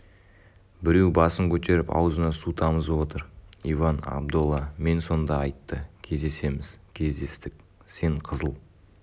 біреу басын көтеріп аузына су тамызып отыр иван абдолла мен сонда айтты кездесеміз кездестік сен қызыл